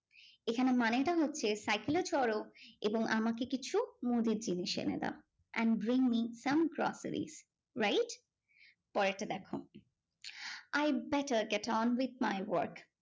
এখানে মানেটা হচ্ছে cycle এ চড়ো এবং আমাকে কিছু মুদির জিনিস এনে দাও and bring me some groceries right পরেরটা দেখো I better get on with my work